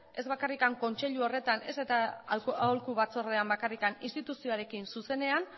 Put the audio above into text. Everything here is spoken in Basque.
ez bakarrik kontseilu horretan ez eta aholku batzordean bakarrik instituzioarekin zuzenean